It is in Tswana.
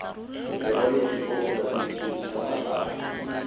lekwaloitshupo kgotsa setefikeiti sa matsalo